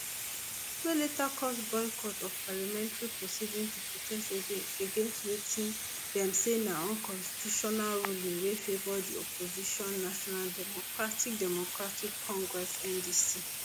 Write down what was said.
wey later cause boycott of parliamentary proceedings to protest against wetin dem say na unconstitutional ruling wey favour di opposition national democratic democratic congress ndc